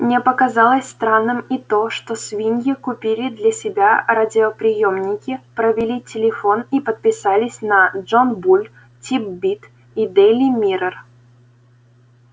мне показалось странным и то что свиньи купили для себя радиоприёмники провели телефон и подписались на джон буль тит-бит и дейли миррор